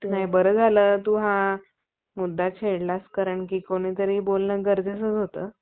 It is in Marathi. ते नाही बरं झालं तू हा मुद्दा छेडलास कारण कि कोणीतरी बोलणं गरजेचंच होतं